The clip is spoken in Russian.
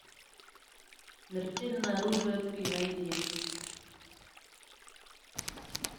смертельное оружие три найди